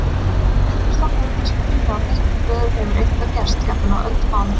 Reynslan hefur kannski sýnt að á þessum stöðum hefur eitthvað gerst, jafnvel á öldum áður.